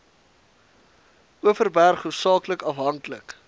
overberg hoofsaaklik afhanklik